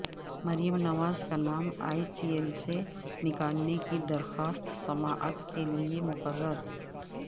مریم نواز کا نام E C L سے نکالنے کی درخواست سماعت کیلئے مقرر